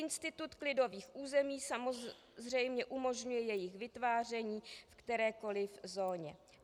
Institut klidových území samozřejmě umožňuje jejich vytváření v kterékoli zóně.